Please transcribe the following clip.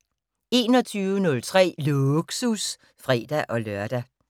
21:03: Lågsus (fre-lør)